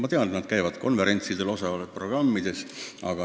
Ma tean, et käiakse konverentsidel, osaletakse programmides.